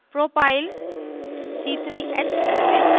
propyl propyl c3h7